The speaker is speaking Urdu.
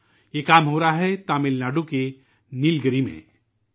یہ کوشش تمل ناڈو کے نیل گری علاقے میں کی جا رہی ہے